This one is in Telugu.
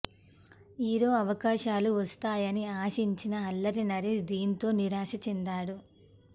హీరో అవకాశాలు వస్తాయని ఆశించిన అల్లరి నరేష్ దీంతో నిరాశ చెందాడు